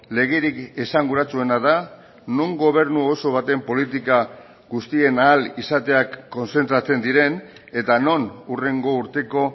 legerik esanguratsuena da non gobernu oso baten politika guztien ahal izateak kontzentratzen diren eta non hurrengo urteko